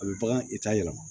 A bɛ bagan i ta yɛlɛma